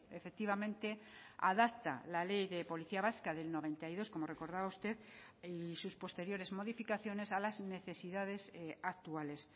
efectivamente adapta la ley de policía vasca del noventa y dos como recordaba usted y sus posteriores modificaciones a las necesidades actuales